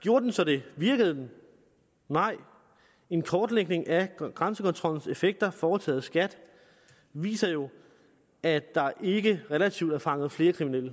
gjorde den så det virkede den nej en kortlægning af grænsekontrollens effekter foretaget af skat viser jo at der ikke relativt er fanget flere kriminelle